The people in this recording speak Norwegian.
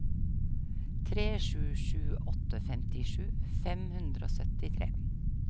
tre sju sju åtte femtisju fem hundre og syttitre